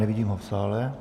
Nevidím ho v sále.